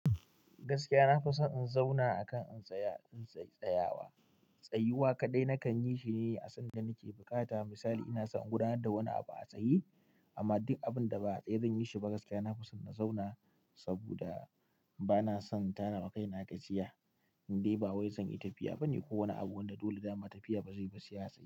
Gaskiya na fi son in zauna a kan in tsaya, in tsayawa. Tsayuwa kaɗai nakan yi shi ne a sanda nake bukata. Misali ina son in gudanar da wani abu a tsaye amma duk abun da ba a tsaye zan yi shi ba gaskiya na fi son na zauna saboda bana son tara wa kaina gajiya. Indai ba wai zan yi tafiya ba ne ko wani abu wanda dole da ma tafiya ba zai yi ba ba atsaye.